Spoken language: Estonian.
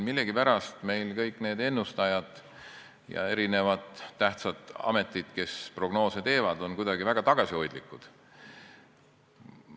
Millegipärast meil kõik need ennustajad ja tähtsad ametid, kes prognoose teevad, on kuidagi väga tagasihoidlikud.